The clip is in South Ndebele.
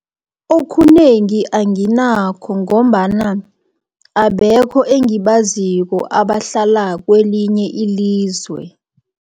Okunengi anginakho ngombana abekho engibaziko abahlala kwelinye ilizwe.